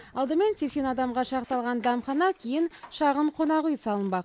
алдымен сексен адамға шақталған дәмхана кейін шағын қонақүй салынбақ